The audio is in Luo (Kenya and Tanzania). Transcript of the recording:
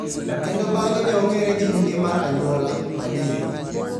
kendo bang'e ne ong'ere gi nyinge mar anyuola, Madiba.